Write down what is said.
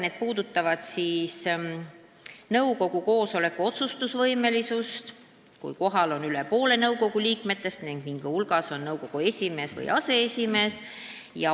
Need puudutavad nõukogu koosoleku otsustusvõimelisust, kui kohal on üle poole nõukogu liikmetest, sh nõukogu esimees või aseesimees.